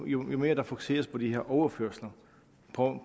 jo mere der fokuseres på de her overførsler på